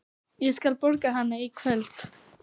Ég skal borga hana í kvöld.